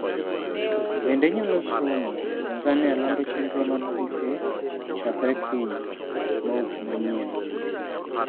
Bende inyalo somo: Tanzania lando chenro mar tuke chakre kiny, Bob manyien?